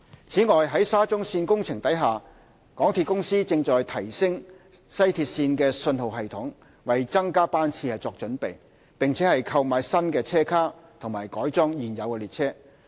此外，在沙中線工程下，港鐵公司正提升西鐵線的信號系統，為增加班次作準備，並購買新車卡和改裝現有列車。